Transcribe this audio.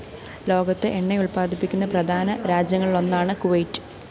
ലോകത്ത് എണ്ണയുല്‍പ്പാദിപ്പിക്കുന്ന പ്രധാന രാജ്യങ്ങളിലൊന്നാണ് കുവൈറ്റ്